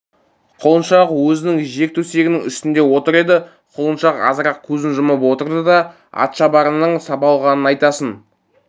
құлыншақ өзінің жер төсегінің үстінде отыр еді құлыншақ азырақ көзін жұмып отырды да атшабарыңның сабалғанын айтасың